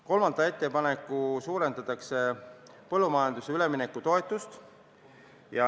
Kolmanda ettepanekuga suurendatakse põllumajanduse üleminekutoetust.